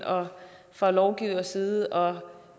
fra lovgivers side og